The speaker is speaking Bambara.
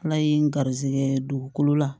Ala ye n garisigɛ dugukolo la